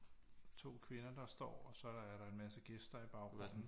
To kvinder der står og så er der er der en masse gæster i baggrunden